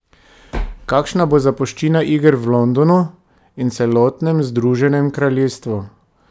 Kakšna bo zapuščina iger v Londonu in celotnem Združenem kraljestvu?